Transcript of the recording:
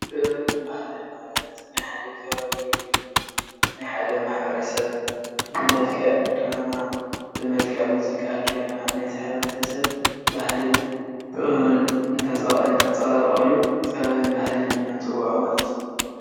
ጥበብን በሃሊን ማለት ናይ ሓደ ከባቢ ውይ ድማ ናይ ሓደ ማሕ/ሰብ ብመልክዕ ድራማ ብመልክዕ ሙዚቃ ገይርና ናይዚ ማሕ/ሰብ ባህልን ጥበብን ተንፃባርቀሉ ጥበብን ባሃሊ ኤልና ንፅወዖማለት እዩ።